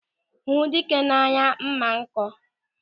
Ịhụ dike na-anyụ mma nkọ.